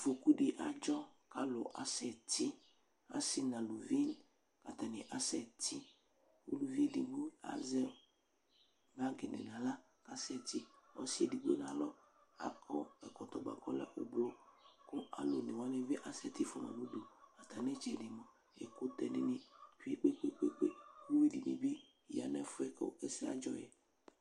Afɔkudɩ adzɔ kʋ alʋ asɛti, asɩ n'aluvi k'atanɩ asɛtɩ, uluvi edigbo azɛ bagɩdɩ n'aɣla k'asɛti, ɔsɩ edigbo n'alɔ akɔ ɛkɔtɔ bua k'ɔlɛ ʋblʋ kʋ alʋ onewanɩ bɩ asɛtɩ fuama n'udu Atsmitsɛdɩ mua ɛkʋtɛ dɩnɩ tsue kpekpekpe k'uyui dɩnɩ bɩ ya nʋ ɛfʋɛ bua kʋ ɛsɛ adzɔ yɛ